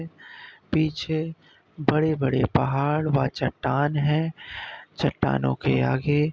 पीछे बड़े-बड़े पहाड़ व चट्टान हैं। चट्टानों के आगे --